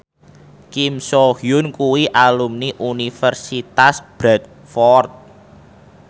Kim So Hyun kuwi alumni Universitas Bradford